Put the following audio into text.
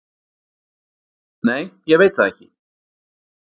Nei, ég veit það ekki